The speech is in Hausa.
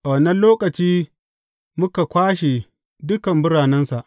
A wannan lokaci muka kwashe dukan biranensa.